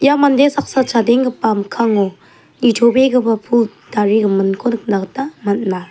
ia mande saksa chadenggipa mikkango nitobegipa pul tarigiminko nikna gita man·a.